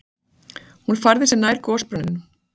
Hún færði sig nær gosbrunninum.